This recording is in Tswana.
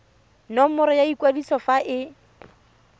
nomoro ya kwadiso fa e